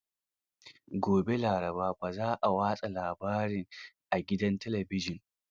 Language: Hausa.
Gobe asabar, ba za a watsa shirin a gidan talabijin.